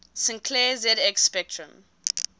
sinclair zx spectrum